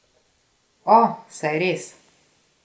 O, saj res!